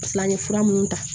Filan ni fura minnu ta